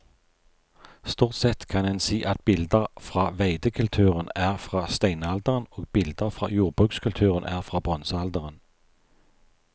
Stort sett kan en si at bilder fra veidekulturen er fra steinalderen og bilder fra jordbrukskulturen er fra bronsealderen.